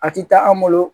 A ti taa an bolo